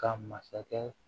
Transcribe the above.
Ka masakɛ